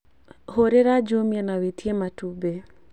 hurira jumia na witie matumbi